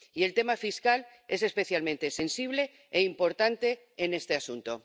Y el tema fiscal es especialmente sensible e importante en este asunto.